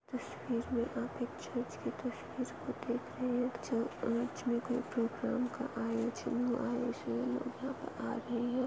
इस तस्वीर में आप एक चर्च की तस्वीर को देख रहे है प्रोग्राम का आयोजन हुआ है इसलिए लोग यहाँ पे आ गए है।